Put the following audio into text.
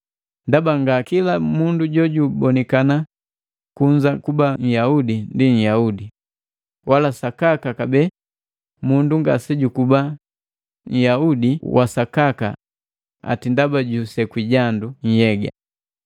Ndaba nga kila mundu jojubonikana kunza kuba Nhyaudi ndi Nhyaudi wa sakaka kabee mundu ngasejukuba nhyaudi wasakaka ati ndaba jusekwi jandu nhyega.